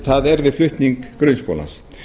það er við flutning grunnskólans